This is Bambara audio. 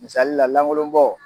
Misaali la lankolonbɔ!